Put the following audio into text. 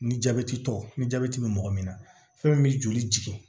Ni jabɛti tɔw ni jabɛti be mɔgɔ min na fɛn min bɛ joli jigin